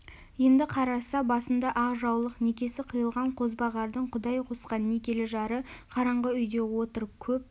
енді қараса басында ақ жаулық некесі қиылған қозбағардың құдай қосқан некелі жары қараңғы үйде отыр көп